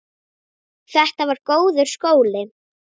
Þetta var góður skóli.